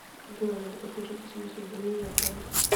джой надо подключить смс уведомления от банка